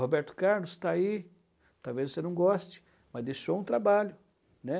Roberto Carlos está aí, talvez você não goste, mas deixou um trabalho, né?